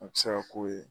A bɛ se ka k'o ye